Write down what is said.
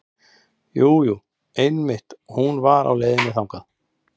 Jú, jú einmitt hún var á leiðinni þangað.